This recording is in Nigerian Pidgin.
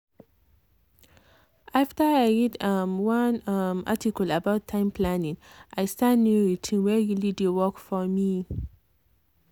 after i read um one um article about time planning i start new routine wey really dey work for me.